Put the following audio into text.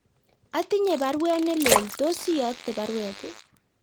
Atinye baruet nelelach , tos iyokte baruet